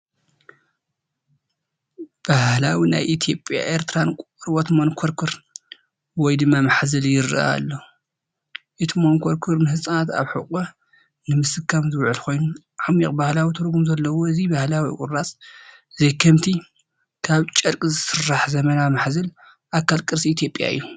ባህላዊ ናይ ኢትዮጵያን ኤርትራን ቆርበት መንኮርኮር (ማሕዘል) ይረአ ኣሎ። እቲ መንኮርኮር ንህጻናት ኣብ ሕቖ ንምስካም ዝውዕል ኮይኑ ዓሚቝ ባህላዊ ትርጉም ዘለዎ እዚ ባህላዊ ቁራጽ ዘይከምቲ ካብ ጨርቂ ዝስራሕ ዘመናዊ ማሕዘል ኣካል ቅርሲ ኢትዮጵያ እዩ።